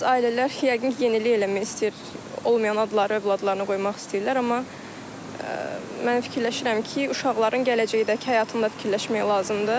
Bəzi ailələr yəqin ki, yenilik eləmək istəyir, olmayan adları övladlarına qoymaq istəyirlər, amma mən fikirləşirəm ki, uşaqların gələcəkdəki həyatında fikirləşmək lazımdır.